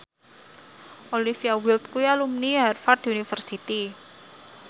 Olivia Wilde kuwi alumni Harvard university